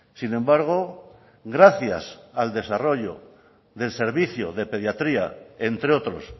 sin embargo gracias el desarrollo del servicio de pediatría entre otros